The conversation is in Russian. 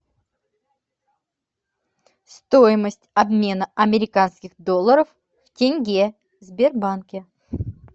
стоимость обмена американских долларов в тенге в сбербанке